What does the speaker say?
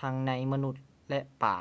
ທັງໃນມະນຸດ ແລະ ປາ